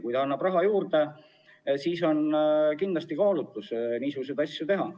Kui ta annab raha juurde, siis kindlasti kaalutakse, kas niisuguseid asju teha.